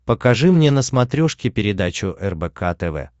покажи мне на смотрешке передачу рбк тв